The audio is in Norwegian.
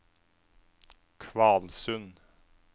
Kvalsund